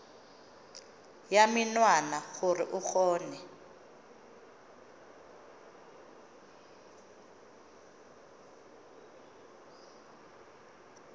ya menwana gore o kgone